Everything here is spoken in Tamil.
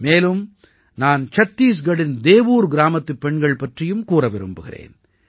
மேலும் நான் சத்தீஸ்கட்டின் தேவூர் கிராமத்துப் பெண்கள் பற்றியும் கூற விரும்புகிறேன்